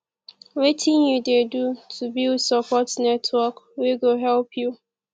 wetin you dey do to build support network wey go dey help you